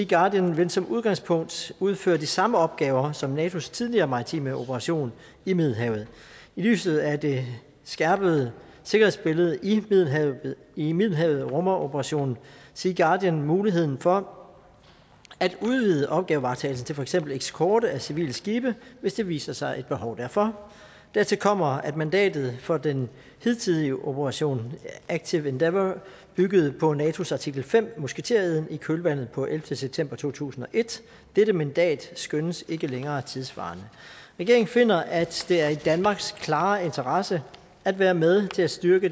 guardian vil som udgangspunkt udføre de samme opgaver som natos tidligere maritime operation i middelhavet i lyset af det skærpede sikkerhedsbillede i middelhavet i middelhavet rummer operation sea guardian mulighed for at udvide opgavevaretagelsen til for eksempel eskorte af civile skibe hvis der viser sig et behov derfor dertil kommer at mandatet for den hidtidige operation active endeavour byggede på natos artikel fem musketereden i kølvandet på ellevte september to tusind og et dette mandat skønnes ikke længere tidssvarende regeringen finder at det er i danmarks klare interesse at være med til at styrke